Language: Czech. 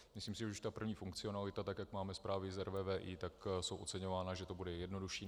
Myslím si, že už ta první funkcionalita, tak jak máme zprávy z RVVI, ta je oceňováno, že to bude jednodušší.